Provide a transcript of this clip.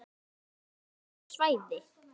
Það rennur af þessu svæði.